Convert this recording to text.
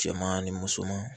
Cɛman ni musoman